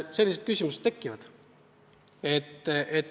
Sellised küsimused tekivad.